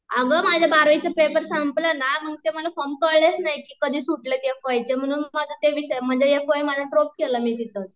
अगं माझे बारावी चे पेपर संपले ना मग ते मला फॉर्म कळलेच नाही की कधी सुटले ते एफ वाय चे म्हणून माझे ते विषय म्हणजे एफ वाय माझं ड्रॉप केला मी तिथंच